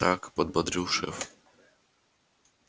так подбодрил шеф